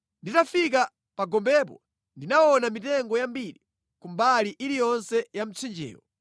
Nditafika pa gombepo, ndinaona mitengo yambiri ku mbali iliyonse ya mtsinjewo.